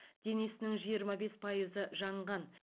денесінің жиырма бес пайызы жанған